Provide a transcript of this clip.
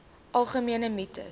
algemene mites